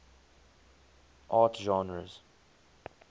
art genres